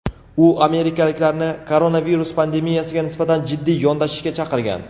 U amerikaliklarni koronavirus pandemiyasiga nisbatan jiddiy yondashishga chaqirgan.